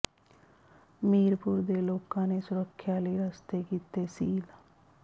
ਮੀਰਪੁਰ ਦੇ ਲੋਕਾਂ ਨੇ ਸੁਰੱਖਿਆ ਲਈ ਰਸਤੇ ਕੀਤੇ ਸੀਲ